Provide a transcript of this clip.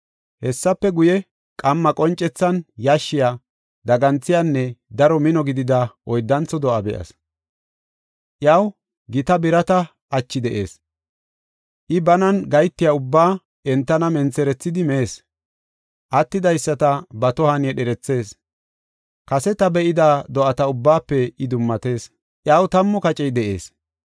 “Hessafe guye, qamma qoncethan yashshiya, daganthiyanne daro mino gidida oyddantho do7a be7as. Iyaw gita birata achi de7ees. I banan gahetiya ubbaa entan mentherethidi mees; attidaysata ba tohuwan yedherethees. Kase ta be7ida do7ata ubbaafe I dummatees; iyaw tammu kacey de7ees.